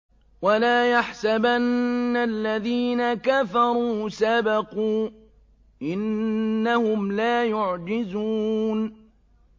وَلَا يَحْسَبَنَّ الَّذِينَ كَفَرُوا سَبَقُوا ۚ إِنَّهُمْ لَا يُعْجِزُونَ